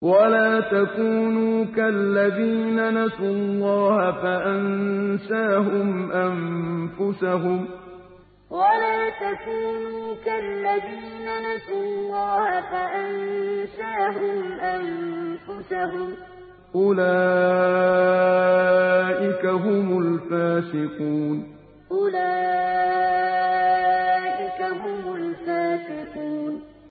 وَلَا تَكُونُوا كَالَّذِينَ نَسُوا اللَّهَ فَأَنسَاهُمْ أَنفُسَهُمْ ۚ أُولَٰئِكَ هُمُ الْفَاسِقُونَ وَلَا تَكُونُوا كَالَّذِينَ نَسُوا اللَّهَ فَأَنسَاهُمْ أَنفُسَهُمْ ۚ أُولَٰئِكَ هُمُ الْفَاسِقُونَ